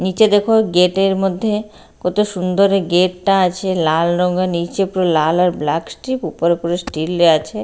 নীচে দেখ গেট -এর মধ্যে কত সুন্দর গেট -টা আছে লাল রঙের নীচে পুরো লাল আর ব্ল্যাক স্ট্রিপ উপর করে স্টীল -এ আছে।